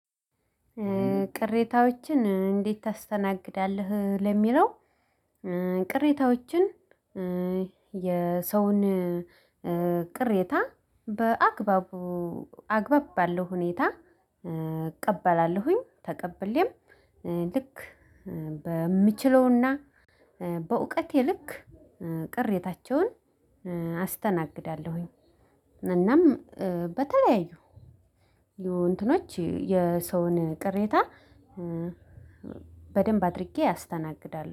ቅሬታዎችን እንዴት ታስተናግዳለህ ለሚለው? ቅሬታዎችን የሰውን ቅሬታ በአግባቡ አግባብ አለው። ሁኔታ እቀበላለሁኝ ተቀብየም ልክ በምችለውና በእውቀቴ ልክ ቅሬታቸውን አስተናግዳለሁኝ። እናም በተለያዩ የእንትኖች የሰውን ቅሬታ በደንብ አድርጌ ያስተናግዳለሁ